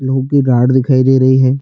लोहो की रॉड दिखाई दे रहै है।